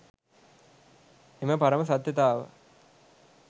එම පරම සත්‍යතාව